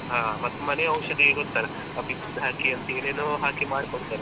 ಹ ಮತ್ತ್ ಮನೆ ಔಷಧಿ ಗೊತ್ತಲಾ ಬಿಕ್ಕಿದ್ ಹಾಕಿ ಅಂತ ಏನೇನೋ ಹಾಕಿ ಮಾಡಿ ಕೊಡ್ತಾರೆ.